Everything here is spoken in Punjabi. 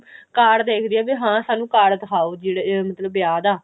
card ਦੇਖਦੀ ਹੈ ਵੀ ਹਾਂ ਸਾਨੂੰ card ਦਿਖਾਓ ਜਿਹੜੇ ਮਤਲਬ ਅਹ ਵਿਆਹ ਦਾ